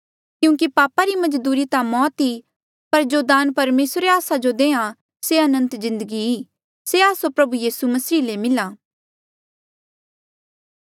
क्यूंकि पापा री मजदूरी ता मौत ई पर जो दान परमेसर आस्सो देआ से अनंत जिन्दगी ई से आस्सो प्रभु यीसू मसीह ले मिला